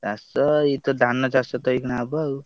ଚାଷ ଏଇତ ଧାନ ଚାଷ ତ ଏଇଖିଣା ହବ ଆଉ।